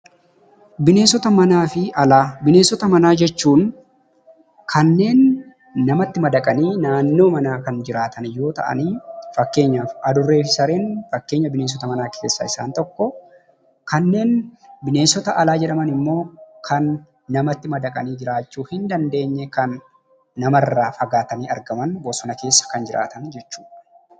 Bineensota Manaa fi Alaa: Bineensota manaa jechuun kanneen namatti madaqanii naannoo manaa kan jiraatan yoo ta'anii, fakkeenyaaf adurree fi sareen fakkeenya bineensota manaa keessaa isaan tokko. Kanneen bineensota alaa jedhaman immoo kan namatti madaqanii jiraachuu hin dandeenye, kan namarraa fagaatanii argaman, bosona keessa kan jiraatan jechuu dha.